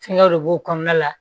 Fɛngɛw de b'o kɔnɔna la